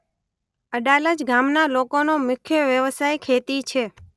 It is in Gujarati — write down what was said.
અડાલજ ગામના લોકોનો મુખ્ય વ્યવસાય ખેતી છે.